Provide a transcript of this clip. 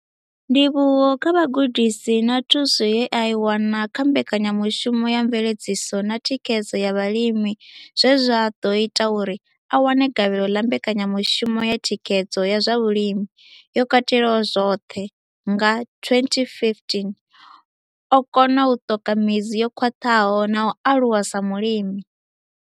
Ndivhuwo kha vhugudisi na thuso ye a i wana kha Mbekanyamushumo ya Mveledziso na Thikhedzo ya Vhalimi zwe zwa ḓo ita uri a wane gavhelo ḽa Mbekanyamushumo ya Thikhedzo ya zwa Vhulimi yo Katelaho zwoṱhe nga 2015, o kona u ṱoka midzi yo khwaṱhaho na u aluwa sa mulimi.